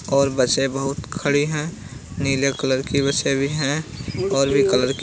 और बसें बहुत खड़ी है नीले कलर की बसें भी हैंऔर भी कलर की --